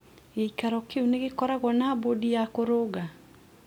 gĩĩkaro kĩu nĩ gĩkoragwo na boodi ya kũrũnga?